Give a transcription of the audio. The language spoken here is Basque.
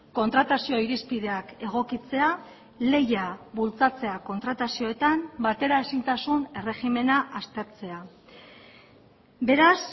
kontratazio irizpideak egokitzea lehia bultzatzea kontratazioetan bateraezintasun erregimena aztertzea beraz